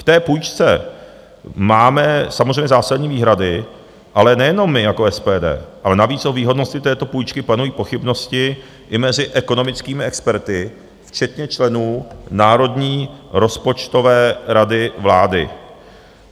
K té půjčce máme samozřejmě zásadní výhrady, ale nejenom my jako SPD, ale navíc o výhodnosti této půjčky panují pochybnosti i mezi ekonomickými experty, včetně členů Národní rozpočtové rady vlády.